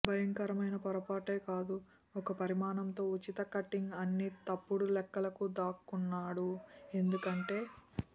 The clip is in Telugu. భయంకరమైన పొరపాటు కాదు ఒక పరిమాణం తో ఉచిత కట్టింగ్ అన్ని తప్పుడులెక్కలకు దాక్కున్నాడు ఎందుకంటే